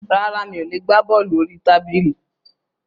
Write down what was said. Rárá, mi ò le gbá bọ́ọ̀lù orí tábìlì.